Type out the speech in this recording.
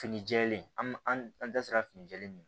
Fini jɛlen an an da sera finijɛ min ma